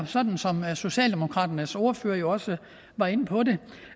sådan som socialdemokraternes ordfører jo også var inde på